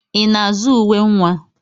I na-azụ uwe nwa?